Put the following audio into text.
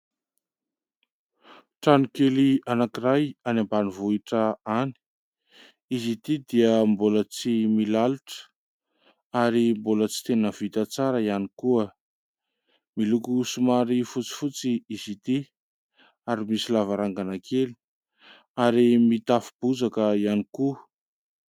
Trano kely anankiray any ambanivohitra any. Izy ity dia mbola tsy milalotra ary mbola tsy tena vita tsara ihany koa. Miloko somary fotsifotsy izy ity ary misy lavarangana kely ary mitafo bozaka ihany koa.